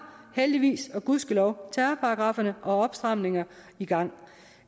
heldigvis og gudskelov terrorparagrafferne og opstramninger i gang